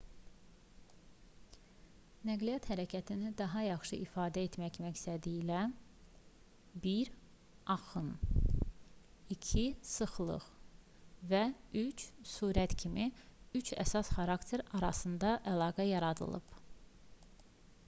nəqliyyat hərəkətini daha yaxşı ifadə etmək məqsədilə 1 axın 2 sıxlıq və 3 sürət kimi üç əsas xarakter arasında əlaqə yaradılıb